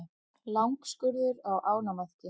Langskurður á ánamaðki.